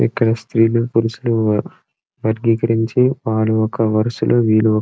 ఇక్కడ స్త్రీలు పురుషులు ఉన్నారు. వాళ్ళు ఒక వరుసలో వీళ్ళు--